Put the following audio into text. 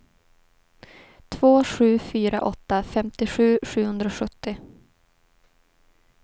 två sju fyra åtta femtiosju sjuhundrasjuttio